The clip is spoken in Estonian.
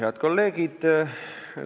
Head kolleegid!